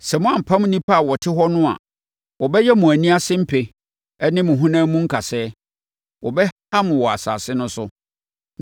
“Sɛ moampam nnipa a wɔte hɔ no a, wɔbɛyɛ mo ani ase mpe ne mo honam mu nkasɛɛ. Wɔbɛha mo wɔ asase no so.